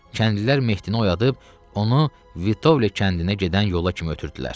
Kəndlilər Mehdini oyadıb, onu Vitovle kəndinə gedən yola kimi ötürdülər.